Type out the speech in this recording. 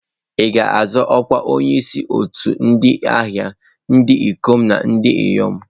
Ị ga-azọ ọkwa onyeisi otu ndị ahịa ndị ikom na ndị inyom.